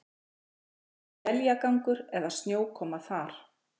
Eins er éljagangur eða snjókoma þar